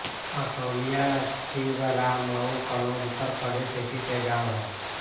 असौलिया छिबरामऊ कन्नौज उत्तर प्रदेश स्थित एक गाँव है